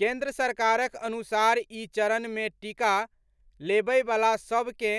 केन्द्र सरकारक अनुसार ई चरण मे टीका लेबयवला सभ के